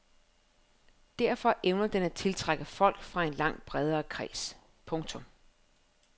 Derfor evner den at tiltrække folk fra en langt bredere kreds. punktum